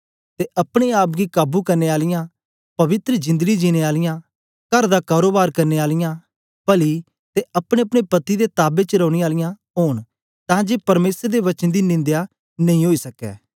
ते अपने आप गी काबू करने आलियां पवित्र जिंदड़ी जिनैं आलियां कर दा कारोबार करने आलियां पली ते अपनेअपने पति दे ताबे च रौनें आलियां ओंन तां जे परमेसर दे वचन दी निंदया नेई ओई सकै